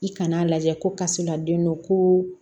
I kan'a lajɛ ko kaso laden don ko